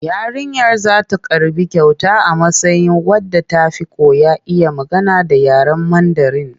Yarinyar za ta karɓi kyauta a matsayin wadda ta fi kowa iya magana da yaren Mandarin.